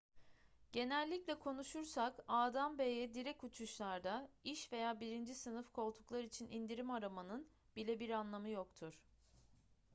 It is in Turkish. genellikle konuşursak a'dan b'ye direkt uçuşlarda iş veya birinci sınıf koltuklar için indirim aramanın bile bir anlamı yoktur